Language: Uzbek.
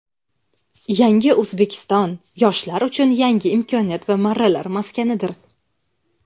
"Yangi O‘zbekiston" - yoshlar uchun yangi imkoniyat va marralar maskanidir.